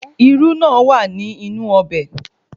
Irú náà wà ní inú ọbẹ̀